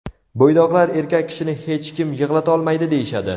Bo‘ydoqlar erkak kishini hech nima yig‘latolmaydi deyishadi.